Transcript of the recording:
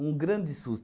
Um grande sus